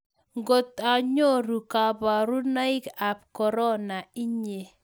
Ngotanyoruu kaparunaik ap corona inyee?